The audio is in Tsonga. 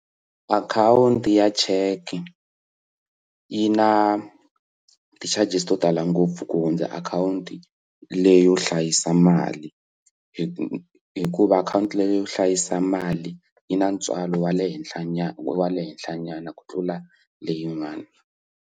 Akhawunti ya cheke yi na ti charges to tala ngopfu ku hundza akhawunti leyi yo hlayisa mali hi hikuva akhawunti leyi yo hlayisa mali yi na ntswalo wa le henhla nyana wa le henhla nyana ku tlula leyin'wana.